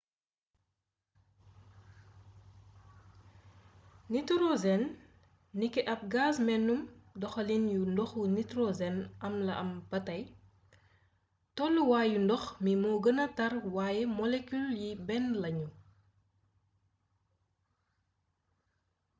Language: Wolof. nitorosen niki ab gaz menum doxaliin yu ndoxu nitorosen am la am ba tey tooluwaayu ndox mi moo gëna tàr waaye molekil yi benn lañu